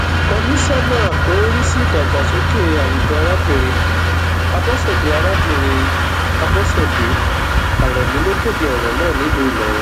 komisanna tó ń rí sí ìdàgbàsókè àwùjọ arábìnrin abọṣẹdé arábìnrin abọṣẹdé aremu ló kéde ọrọ náà nílùú ìlọrin